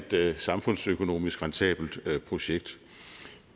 det et samfundsøkonomisk rentabelt projekt